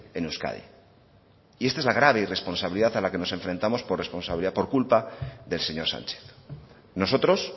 en euskadi y esta es la grave irresponsabilidad a la que nos enfrentamos por responsabilidad por culpa del señor sánchez nosotros